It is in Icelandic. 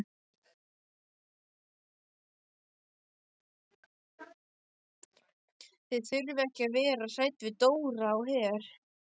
Þið þurfið ekki að vera hrædd við Dóra á Her.